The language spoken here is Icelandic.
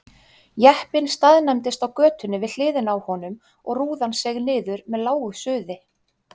Jeppinn staðnæmdist á götunni við hliðina á honum og rúðan seig niður með lágu suði.